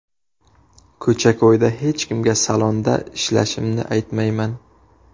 Ko‘cha-ko‘yda hech kimga salonda ishlashimni aytmayman.